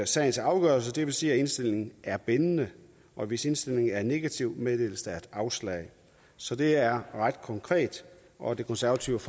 sagens afgørelse det vil sige at indstillingen er bindende og hvis indstillingen er negativ meddeles der et afslag så det er ret konkret og det konservative